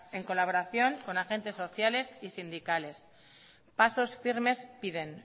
en colaboración con agentes sociales y sindicales pasos firmes piden